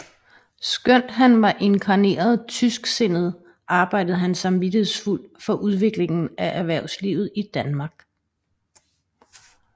Skønt han var inkarneret tysksindet arbejdede han samvittighedsfuldt for udviklingen af erhvervslivet i Danmark